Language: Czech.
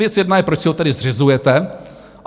Věc jedna je, proč si ho tedy zřizujete?